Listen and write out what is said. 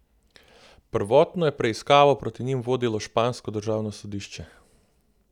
Prvotno je preiskavo proti njim vodilo špansko državno sodišče.